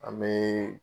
An bɛ